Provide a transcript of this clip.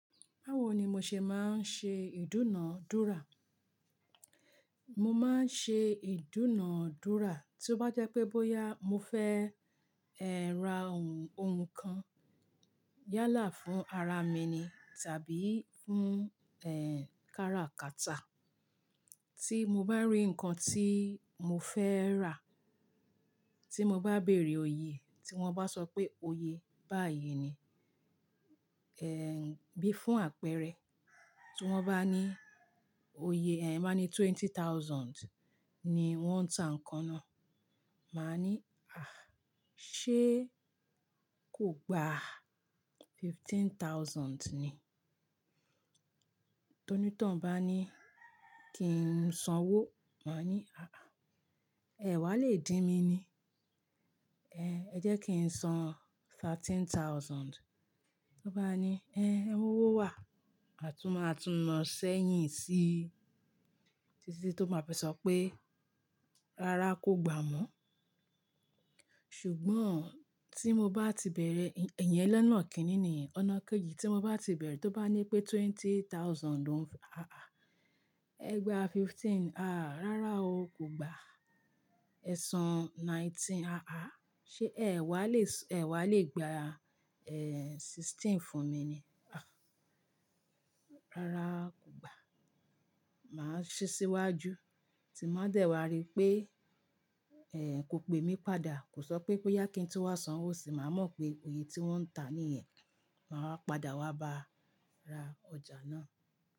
Báwo ni mo ṣe máa ń ṣe ìdúnàádúrà? Mo máa ń ṣe ìdúnàádúrà tí ó bá jẹ́ pé bóyá mo fẹ́ ẹ́ ra ohun, ohun kan yálà fún ara mi ni tàbí fún, ẹ́ń, kára kàtà. Tí mo bá rí nǹkan tí mo fẹ́ rà, tí mo bá bèerè oye e, tí wọ́n bá sọ pé oye báyìí ni, ẹ́ń, bí fún àpẹrẹ. Tí wọ́n bá ní oye, ẹ́ń, won bá ní twenty thousand ni wọ́n ń ta nǹkan náà. Màá ní, "àh, ṣe kò gba fifteen thousand ni?" Tóní tọ̀un bá ní kí n sanwó, màá ní, "àh ah, ẹ́ ẹ wá lè dín mi ni, ẹ́hn, ẹ jẹ́ kí n san thirteen thousand." Tó bá ní, "ẹ́hn, e mowó wà." A tún máa tún nà sẹ́yìn síi títí tí ó má fi sọ pé, "rárá, kò gba mọ́." Ṣùgbọ́n tí mo bá ti bẹ̀rẹ̀, iyẹn lona kíni niyen, ọ̀nà kejì. Tí mo bá ti bẹ̀rẹ̀, tó bá ní pé twenty thousand, loun, àh, ẹ gbà fifteen. "Àh, rárá o, kò gbà." Ẹ san nineteen. "Àh, àh, ṣe ẹ́ wá lè s-- ẹ wá lè gba, ẹ́, sixteen fún mi ni?" "Àh, rárá, kò gbà." Màá sì ṣíwájú, tí má dẹ̀ wá rí pé, ẹ́, kò pe mí padà, kò sọ pé bóyá kí n tun wa sanwó sì, màá mọ̀ pé oye tí wọ́n ń ta a níyẹ̀n. Màá wà padà, wa bá ra ọjà náà.